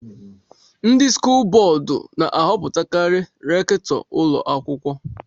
Ndị skụl bọọdú na-ahọpụtakari rèktọ ụlọ akwụkwọ